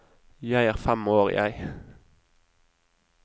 Jeg er fem år, jeg.